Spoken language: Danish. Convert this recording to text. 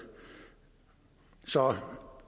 så